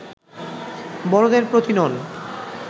বড়দের প্রতি নন